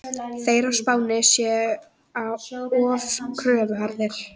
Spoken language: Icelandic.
Þeir á Spáni séu of kröfuharðir.